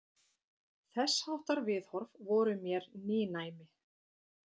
Þessháttar viðhorf voru mér nýnæmi.